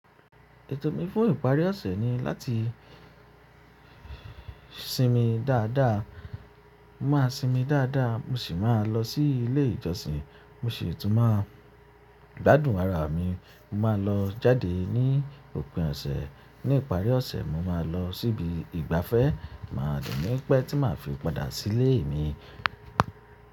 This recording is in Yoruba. Ètò mi fún ìparí ọ̀sẹ̀ ni láti sinmi dáadáa. Mo máa sinmi dáadáa, mo sì máa lọ sí ilé ìjọsìn. Mo sì tún máa gbádùn ara mi. Mo máa lọ jáde ní òpin ọ̀sẹ̀. Ní ìparí ọ̀sẹ̀, mo máa lọ síbi ìgbafẹ́, màá de ní pẹ́ tí màá fi padà sí ilé mi.